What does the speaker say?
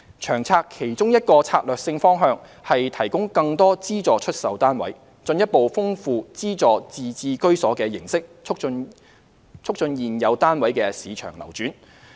《長策》其中一個策略性方向，是提供更多資助出售單位，進一步豐富資助自置居所的形式，促進現有單位的市場流轉。